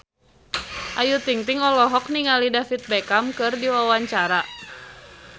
Ayu Ting-ting olohok ningali David Beckham keur diwawancara